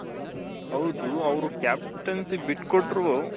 ಹೌದು ಅವ್ರು captaincy ಬಿಟ್ಟ್ ಕೊಟ್ರು